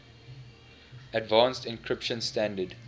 advanced encryption standard